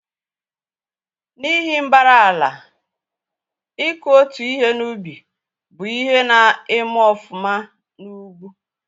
N'ihi mbara ala, iku otu ihe n'ubị́ bụ ihe na-eme ọfuma n'ugwu